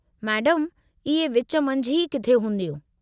मैडमु, इहे विच मंझि ई किथे हूंदियूं।